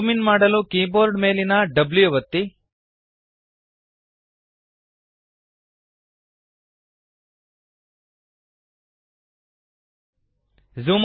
zoom in ಮಾಡಲು keyboard ಮೇಲಿನ W ಒತ್ತಿರಿ